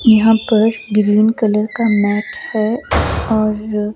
यहां पर green colour का मैट है और--